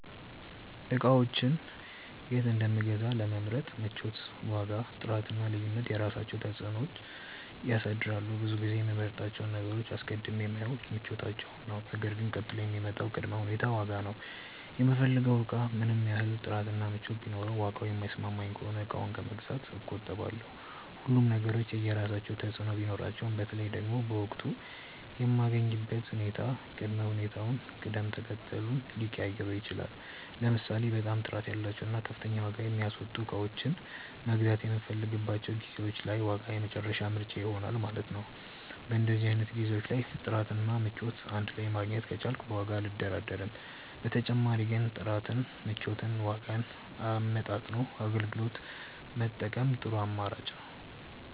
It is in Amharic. እቃዎችን የት እንደምገዛ ለመምረጥ ምቾት፣ ዋጋ፣ ጥራት እና ልዩነት የራሳቸውን ተፅዕኖ ያሳድራሉ። ብዙ ጊዜ የምመርጣቸውን ነገሮች አስቀድሜ የማየው ምቾታቸውን ነው ነገር ግን ቀጥሎ የሚመጣው ቅድመ ሁኔታ ዋጋ ነው። የምፈልገው እቃ ምንም ያህል ጥራት እና ምቾት ቢኖረውም ዋጋው የማይስማማኝ ከሆነ እቃውን ከመግዛት እቆጠባለሁ። ሁሉም ነገሮች የየራሳቸው ተፅእኖ ቢኖራቸውም በተለይ ደግሞ በወቅቱ የምገኝበት ሁኔታ ቅድመ ሁኔታዬን ቅደም ተከተሉን ሊቀያይረው ይችላል። ለምሳሌ በጣም ጥራት ያላቸውን እና ከፍተኛ ዋጋ የሚያስወጡ እቃዎችን መግዛት የምፈልግባቸው ጊዜዎች ላይ ዋጋ የመጨረሻ ምርጫዬ ይሆናል ማለት ነው። በእንደዚህ አይነት ጊዜዎች ላይ ጥራት እና ምቾት እንድ ላይ ማግኘት ከቻልኩ በዋጋው አልደራደርም። በተጨማሪ ግን ጥራትን፣ ምቾትን እና ዋጋን አመጣጥኖ አገልግሎት መጠቀም ጥሩ አማራጭ ነው።